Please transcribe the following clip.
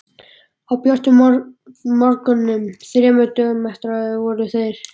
Á björtum vormorgni þremur dögum eftir þetta voru þeir